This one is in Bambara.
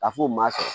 Ka f'o ma